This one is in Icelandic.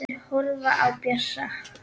Þeir horfa á Bjössa.